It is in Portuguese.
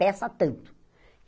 Peça tanto.